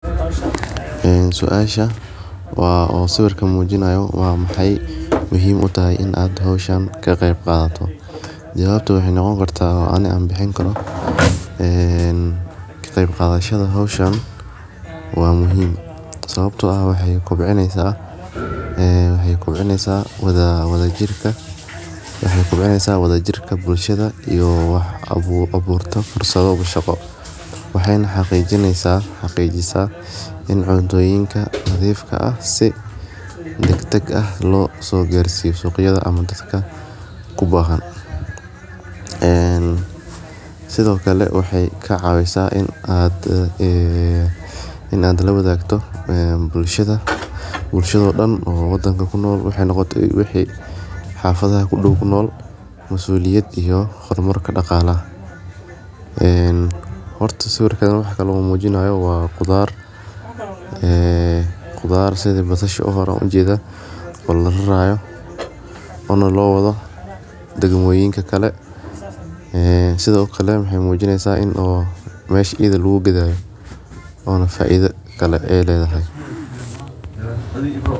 Suasha waa sawirka mujinayo waa maxee muhiim utahay in aa hoshan ka qeb qadato jawabta waxee noqoni kartaa ee aniga bicinayo waa muhiim sawabto ah waxee kobcineysa jirka waxee kobcineysa wadha jirka bulshaada ee aburto shaqo cunta nadhif ah si lo sogarsiyo suqyada iyo dadka bahan, sithokale waxe cawisa in aa lawadhagto bulshaada dan xafadaha kunol masuliyad iyo daqala horta sawirkan waxaa kunol waxaa mujinayo waa qudhaar lararayo oo meela kale lageynayo sas ayan arki haya.